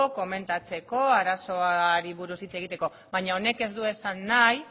komentatzeko arazoari buruz hitz egiteko baina honek ez du esan nahi